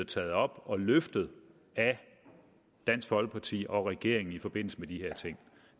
taget op og løftet af dansk folkeparti og regeringen i forbindelse med de her ting